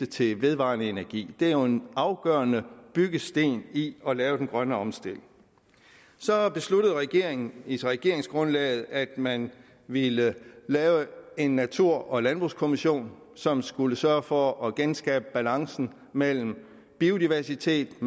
til vedvarende energi det er jo en afgørende byggesten i at lave den grønne omstilling så besluttede regeringen i regeringsgrundlaget at man ville lave en natur og landbrugskommission som skulle sørge for at genskabe balancen mellem biodiversitet